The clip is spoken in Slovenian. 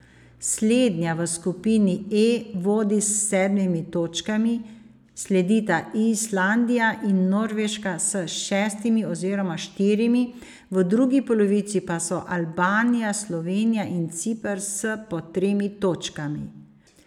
Slednja v skupini E vodi s sedmimi točkami, sledita Islandija in Norveška s šestimi oziroma štirimi, v drugi polovici pa so Albanija, Slovenija in Ciper s po tremi točkami.